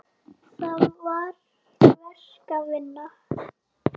Það var verk að vinna.